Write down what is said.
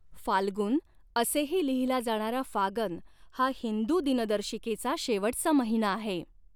फाल्गुन असेही लिहिला जाणारा फागन हा हिंदू दिनदर्शिकेचा शेवटचा महिना आहे.